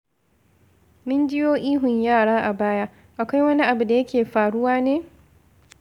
Mun jiyo ihun yara a baya, akwai wani abu da yake faruwa ne?